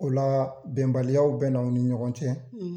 O la bɛnbaliyaw bɛ na aw ni ɲɔgɔn cɛ,